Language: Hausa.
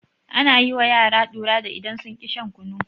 Ana yi wa yara ɗura da idan sun ƙi shan kunu.